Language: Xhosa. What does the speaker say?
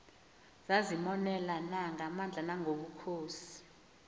zazimonelana ngamandla nangobukhosi